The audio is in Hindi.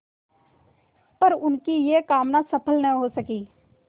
पर उनकी यह कामना सफल न हो सकी